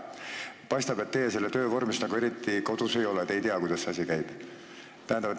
Paistab, et teie selle töö vormides nagu eriti kodus ei ole, te ei tea, kuidas see asi käib.